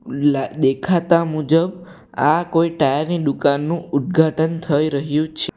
લા દેખાતા મુજબ આ કોઈ ટાયર ની ડુકાનનું ઉદ્ઘાટન થઈ રહ્યું છ --